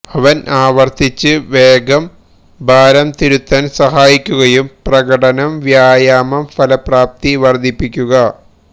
അവൻ ആവർത്തിച്ച് വേഗം ഭാരം തിരുത്താൻ സഹായിക്കുകയും പ്രകടനം വ്യായാമം ഫലപ്രാപ്തി വർദ്ധിപ്പിക്കുക